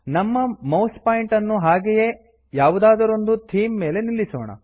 ನಮ್ಮ ಮೌಸ್ಪಾಯಿಂಟರ್ ಅನ್ನು ಹಾಗೆಯೇ ಯಾವುದಾದರೊಂದು ಥೀಮ್ ಮೇಲೆ ನಿಲ್ಲಿಸೋಣ